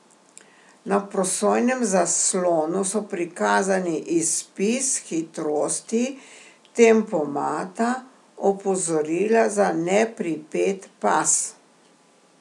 Na prosojnem zaslonu so prikazani izpis hitrosti, tempomata, opozorila za nepripet pas ...